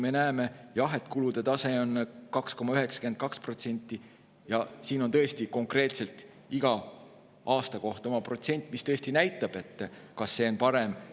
Me näeme, et kulude tase on 2,92%, ja siin on tõesti konkreetselt iga aasta kohta oma protsent, mis näitab, kas see on parem.